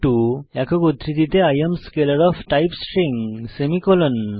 string একক উদ্ধৃতিতে I am scalar of type string semicolon